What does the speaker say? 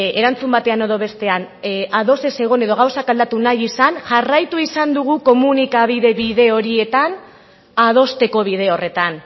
erantzun batean edo bestean ados ez egon edo gauzak aldatu nahi izan jarraitu izan dugu komunikabide bide horietan adosteko bide horretan